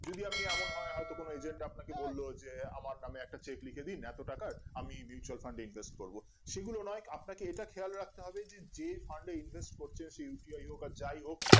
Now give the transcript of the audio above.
যদি আপনি এমন হয় হয়তো কোন agent আপনাকে বলল যে আমার নামে একটা check লিখে দিন এত টাকার আমি mutual Fund এ invest করবগুলো না হোক আপনাকে এটা খেয়াল রাখতে হবে যে fund এ invest করছেন সে uti আর যাই হোক